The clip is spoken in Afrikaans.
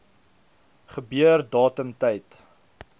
gebeur datum tyd